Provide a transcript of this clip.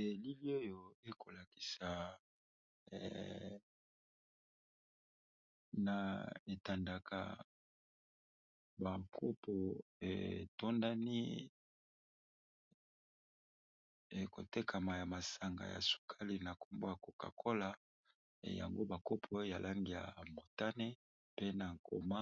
Elili oyo eko lakisa na etandaka bakopo etondani eko tekama ya masanga ya sukali na kombo ya koka kola yango bakopo ya langi ya motane mpe na makoma